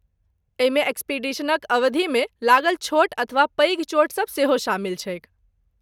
एहिमे एक्सपीडिशनक अवधिमे लागल छोट अथवा पैघ चोट सब सेहो शामिल छैक।